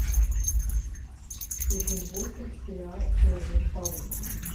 сезон восемь сериал человек паук